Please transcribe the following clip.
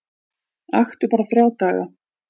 Aktu bara þrjá daga